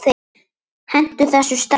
Hentu þessu strax!